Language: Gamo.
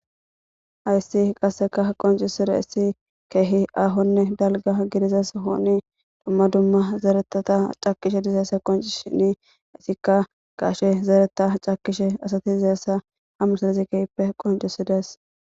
hayssi qasseka qoncisire issi keehi aahonne dalga gidizes hooni dumma dumma zeeretata cakishe dizeyessa qonci shini isikka gaashe zeereta cakishe asati dizayessa hamusilezi kehippe qoncisides